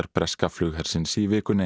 breska flughersins í vikunni